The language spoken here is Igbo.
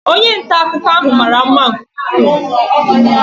Onye nta akụkọ ahụ mara mma nke ukwuu.